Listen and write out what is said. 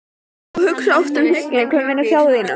og hugsa oft um það hnugginn, hver muni biðja þín.